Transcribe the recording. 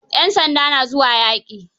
Yan sanda na zuwa yaƙi?